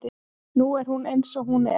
Nú er hún eins og hún er.